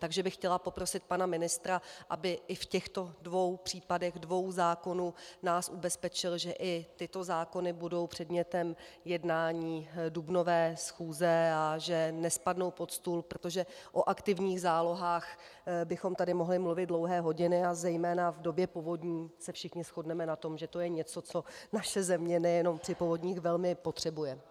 Takže bych chtěla poprosit pana ministra, aby i v těchto dvou případech dvou zákonů nás ubezpečil, že i tyto zákony budou předmětem jednání dubnové schůze a že nespadnou pod stůl, protože o aktivních zálohách bychom tady mohli mluvit dlouhé hodiny, a zejména v době povodní se všichni shodneme na tom, že to je něco, co naše země nejen při povodních velmi potřebuje.